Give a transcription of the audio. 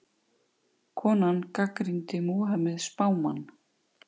Konan gagnrýndi Múhameð spámann